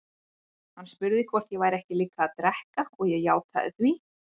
Hann spurði hvort ég væri ekki líka að drekka og ég játaði því.